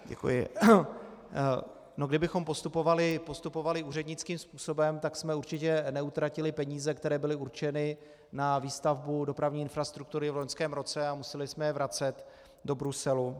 Kdybychom postupovali úřednickým způsobem, tak jsme určitě neutratili peníze, které byly určeny na výstavbu dopravní infrastruktury v loňském roce a museli jsme je vracet do Bruselu.